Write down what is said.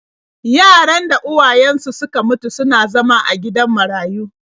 Yaran da uwayensu suka mutu suna zama a gidan marayu.